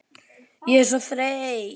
Ég er svo þreytt